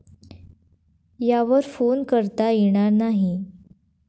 यावर फोन करता येणार नाही.